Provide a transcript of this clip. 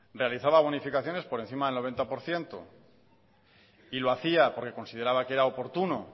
realizaba bonificaciones por encima del noventa por ciento y lo hacía porque consideraba que era oportuno